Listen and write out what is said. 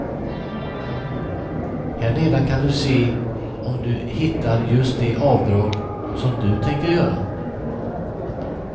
Här nedan kan du se om du hittar just det avdrag som du tänker göra.